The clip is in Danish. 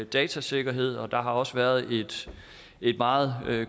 datasikkerhed der har også været et meget